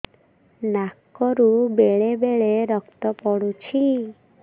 ନାକରୁ ବେଳେ ବେଳେ ରକ୍ତ ପଡୁଛି